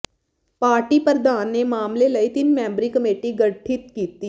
party ਪ੍ਰਧਾਨ ਨੇ ਮਾਮਲੇ ਲਈ ਤਿੰਨ ਮੈਂਬਰੀ ਕਮੇਟੀ ਗਠਿਤ ਕੀਤੀ